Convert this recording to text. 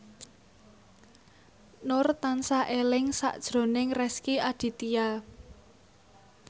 Nur tansah eling sakjroning Rezky Aditya